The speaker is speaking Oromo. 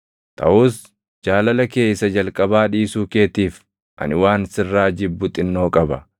Taʼus jaalala kee isa jalqabaa dhiisuu keetiif ani waan sirraa jibbu xinnoo qaba.